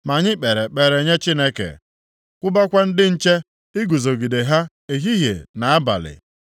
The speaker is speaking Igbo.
Ma anyị kpere ekpere nye Chineke, kwụbakwa ndị nche iguzogide ha ehihie na abalị.